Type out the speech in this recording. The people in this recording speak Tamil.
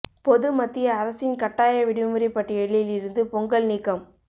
பொது மத்திய அரசின் கட்டாய விடுமுறை பட்டியலில் இருந்து பொங்கல் நீக்கம்